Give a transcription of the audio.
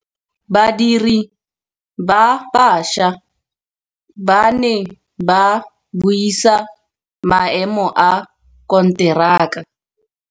Badiri ba baša ba ne ba buisa maêmô a konteraka.